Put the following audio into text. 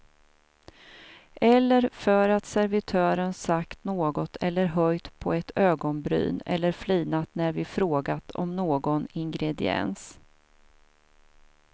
Eller för att servitören sagt något eller höjt på ett ögonbryn eller flinat när vi frågat om någon ingrediens.